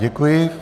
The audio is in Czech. Děkuji.